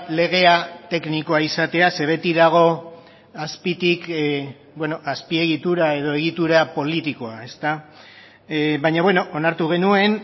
legea teknikoa izatea ze beti dago azpitik beno azpiegitura edo egitura politikoa ezta baina beno onartu genuen